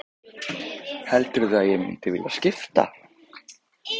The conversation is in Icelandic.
Heldurðu að ég mundi vilja skipta?